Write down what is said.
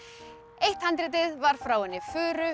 eitt handritið var frá henni furu